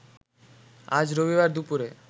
আজ রবিবার দুপুরে